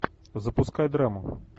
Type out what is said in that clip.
запускай драму